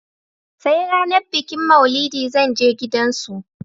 I will go their house on the day of maulud